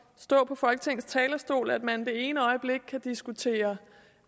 stå på folketingets talerstol at man det ene øjeblik kan diskutere